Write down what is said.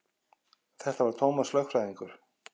Þetta var Tómas lögfræðingur.